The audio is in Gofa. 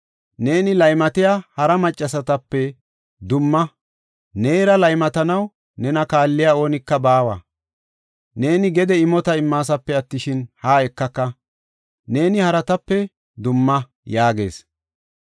Neeni laymatiya hara maccasatape dumma; neera laymatanaw nena kaalliya oonika baawa. Neeni gede imota immasape attishin, haa ekaka; neeni haratape dumma” yaagees.